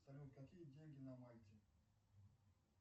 салют какие деньги на мальте